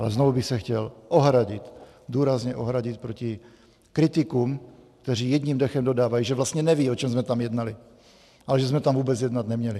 Ale znovu bych se chtěl ohradit, důrazně ohradit proti kritikům, kteří jedním dechem dodávají, že vlastně nevědí, o čem jsme tam jednali, a že jsme tam vůbec jednat neměli.